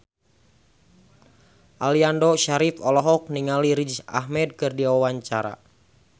Aliando Syarif olohok ningali Riz Ahmed keur diwawancara